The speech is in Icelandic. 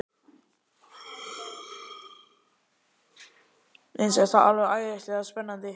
Mér finnst þetta alveg æðislega spennandi.